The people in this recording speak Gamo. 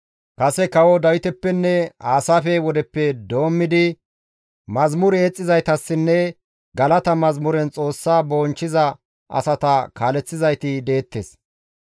Kase kawo Dawitapenne Aasaafe wodeppe doommidi mazamure yexxizaytassinne galata mazamuren Xoossa bonchchiza asata kaaleththizayti deettes.